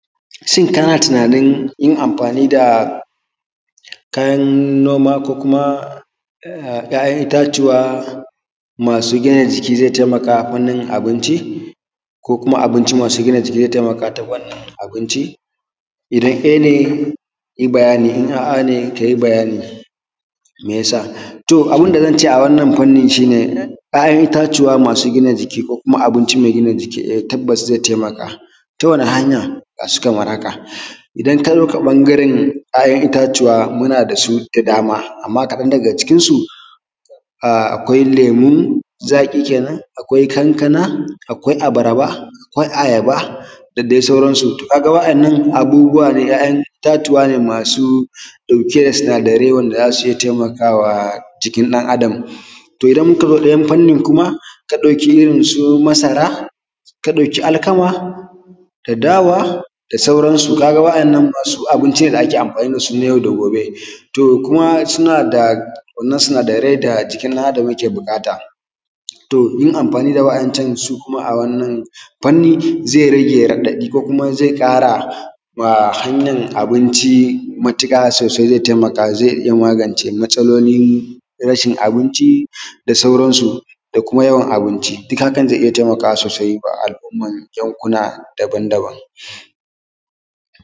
Shin kana tunain yin amfani da kayan noma ko kuma ‘ya’yan itatuwa masu gina jiki, ze taimaka fannin abinci ko kuma abinci masu gina jiki ze taimaka ta fannin abinci? Idan e ne, yi bayani. Idan aa ne, yi bayani me ya sa? To abun da zance a wannan fannin shi ne, shi ya ‘ya’yan itatuwa masu gina jiki ko kuma abinci me gina jiki, e tabas ze taimaka ta wannan hanya ga shi kamar haka. Idan ka duba ɓangaren kayan itatuwa, muna da su da dama, amma kaɗan daga cikin su akwai lemo zaƙi kenan, akwai kankana, akwai abarba, akwai ayaba da dai soransu, kaga waɗannan abubbuwa dai, ‘ya’yan itatuwa ne masu ɗauke da sinadarai wanda za su iya taimakawa jiki ɗan adam. To idan muka duba ɗayan fannin kuma ka ɗauki irin su masara, ka ɗauki alkama da dawa da sauransu, kaga waɗansu abinci ne da ake amfani da su, nayau da gobe. To kuma suna da wannan sinadarai jikin ɗan adam da yake buƙata. To yin amfani da wayancansu kuma a wannan fannin, ze rage raɗaɗi ko kuma ze ƙara wa hanyan abinci matuƙa sosai, ze taimaka, ze iya magance matasalolin rashin abinci da sauransu, da kuma yawan abinci dik. Hakan ze iya taimakawa sosai wa al’umman yankuna dabandaban.